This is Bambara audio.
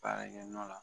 Baarakɛ nɔ la